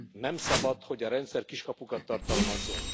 Nem szabad, hogy a rendszer kiskapukat tartalmazzon.